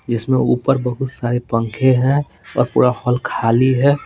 जिसमें ऊपर बहुत सारे पंखे हैं और पूरा हॉल खाली है।